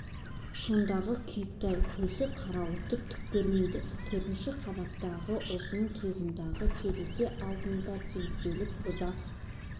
сондағы күйікті-ай көз қарауытып түк көрмейді төртінші қабаттағы ұзын тұйығындағы терезе алдында теңселіп ұзақ